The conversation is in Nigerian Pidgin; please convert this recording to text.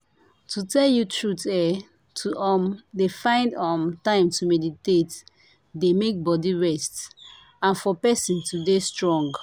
to tell you truth eeh! to um dey find um time to meditate dey make body rest and for person to dey strong.